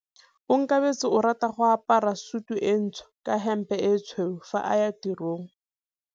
Onkabetse o rata go apara sutu e ntsho ka hempe e tshweu fa a ya tirong.